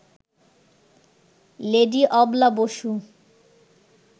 lady Abala Basu